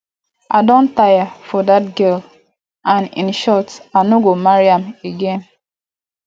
i don tire for dat girl and in short i no go marry am again